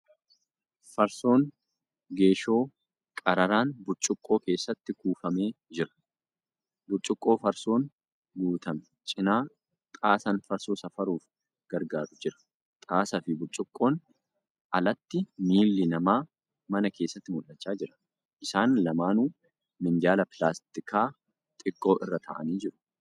Farsoon geeshoo qararaan burcuqqoo keessatti buufamee jira. Burcuqqoo farsoon guutame cinaa xaasaan farsoo safaruuf gargaaru jira. Xaasaa fi burcuqqoon alatti miilli namaa mana keesstti mul'achaa jira. Isaan lamaanuu minjaala pilaastikaa xiqqoo irra taa'anii jiru.